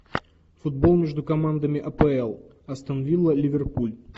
футбол между командами апл астон вилла ливерпуль